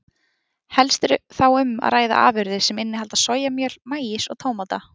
Helst er þá um að ræða afurðir sem innihalda sojamjöl, maís og tómata.